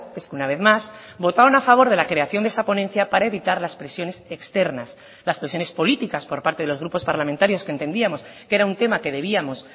es que una vez más votaron a favor de la creación de esa ponencia para evitar las presiones externas las presiones políticas por parte de los grupos parlamentarios que entendíamos que era un tema que debíamos